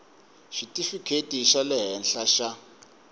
xitifikheti xa le henhla xa